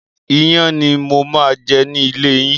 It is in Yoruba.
Iyán ni mo máa jẹ ni ilé yín.